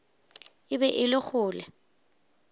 e be e le kgole